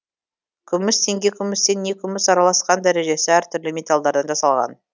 күміс теңге күмістен не күміс араласқан дәрежесі әртүрлі металдардан жасалған